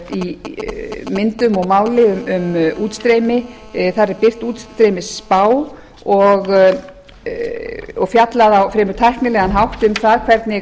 í myndum og máli um útstreymi þar er birt útstreymisspá og fjallað á fremur tæknilegan hátt um það hvernig